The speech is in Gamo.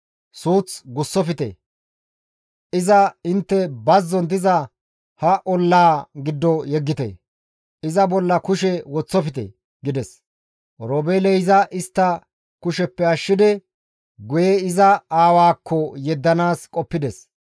Suuth gussofte; iza intte bazzon diza ha ollaa giddo yeggite; iza bolla kushe woththofte» gides. Oroobeeley iza istta kusheppe ashshidi guye iza aawaakko yeddanaas qoppides.